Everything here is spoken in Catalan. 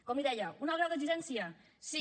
com li deia un alt grau d’exigència sí